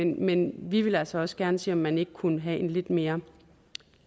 men vi vil altså også gerne se om man ikke kunne have en lidt mere